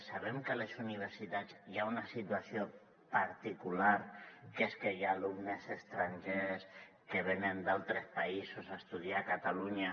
sabem que a les universitats hi ha una situació particular que és que hi ha alumnes estrangers que venen d’altres països a estudiar a catalunya